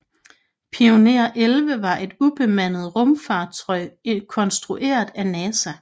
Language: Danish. Pioneer 11 var et ubemandet rumfartøj konstrueret af NASA